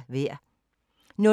DR1